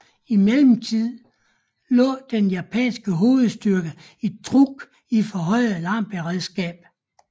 I mellemtiden lå den japanske hovedstyrke i Truk i forhøjet alarmberedskab